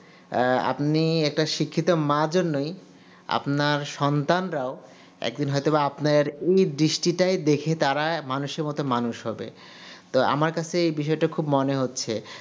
আপনি যে একটা শিক্ষিত মা জন্যই আপনার সন্তানরাও একদিন হয় তো বা আপনার এই দৃষ্টিটা দেখে তারা মানুষের মতো মানুষ হবে তো আমার কাছে এই বিষয়টা খুব মনে হচ্ছে